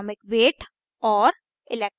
atomic weight और